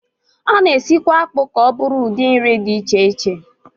A na-esikwa akpụ ka ọ bụrụ ụdị nri dị iche iche